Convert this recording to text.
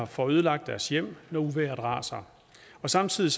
får ødelagt deres hjem når uvejret raser og samtidig